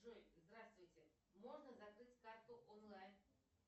джой здравствуйте можно закрыть карту онлайн